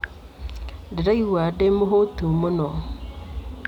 Ndĩraigua ndĩ mũhũũtu mũno.